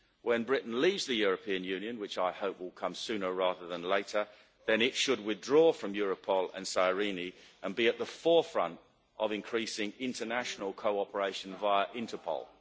When Britain leaves the European Union, which I hope will come sooner rather than later, it should withdraw from Europol and SIRENE and be at the forefront of increasing international cooperation via Interpol.